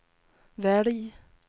välj